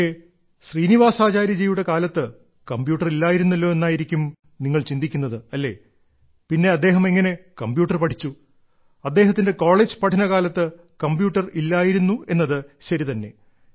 പക്ഷേ ശ്രീനിവാസാചാര്യജിയുടെ കാലത്ത് കമ്പ്യൂട്ടർ ഇല്ലായിരുന്നല്ലോ എന്നായിരിക്കും നിങ്ങൾ ചിന്തിക്കുന്നത് അല്ലേ പിന്നെ അദ്ദേഹം എങ്ങനെ കമ്പ്യൂട്ടർ പഠിച്ചു അദ്ദേഹത്തിന്റെ കോളേജ് പഠനകാലത്ത് കമ്പ്യൂട്ടർ ഇല്ലായിരുന്നു എന്നത് ശരിതന്നെ